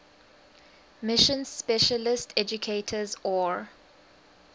mission specialist educators or